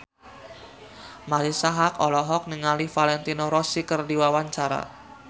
Marisa Haque olohok ningali Valentino Rossi keur diwawancara